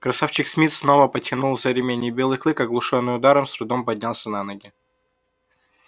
красавчик смит снова потянул за ремень и белый клык оглушённый ударом с трудом поднялся на ноги